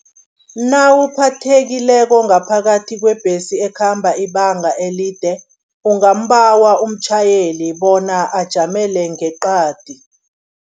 Nawuphathekileko ngaphakathi kwebhesi ekhamba ibanga elide, ungambawa umtjhayeli bona ajamele ngeqadi.